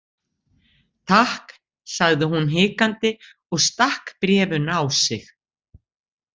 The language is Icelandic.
Takk, sagði hún hikandi og stakk bréfinu á sig.